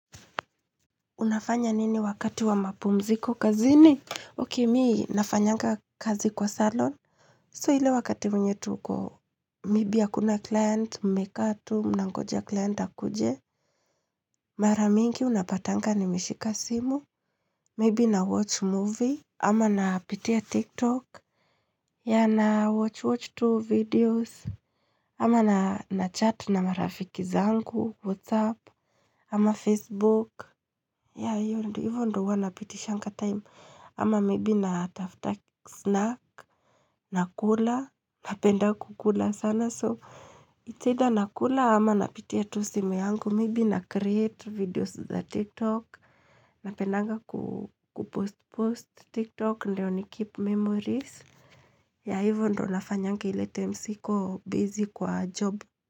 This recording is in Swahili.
Unafanya nini wakati wa mapumziko kazini? Ok mii, nafanyanga kazi kwa salon. So ile wakati wenye tuko. Maybe hakuna client, mmekaa tu, mnangoja client akuje. Mara mingi unapatanga nimeshika simu. Maybe nawatch movie. Ama napitia tiktok. Ya nawatch watch tu videos. Ama na chat na marafiki zangu. Whatsapp. Ama Facebook. Ya hivyo ndio huwa napitishanga time. Ama maybe natafuta snack nakula napenda kukula sana so it's either nakula ama napitia tu simu yangu maybe na create videos za tiktok napendanga kupost post tiktok ndio ni keep memories ya hivyo ndio nafanyanga ile time siko busy kwa job.